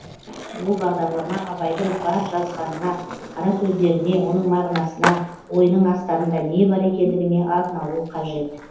ол бағдарлама абайдың бар жазғанына қарасөздеріне оның мағынасына ойының астарында не бар екендігіне арналуы қажет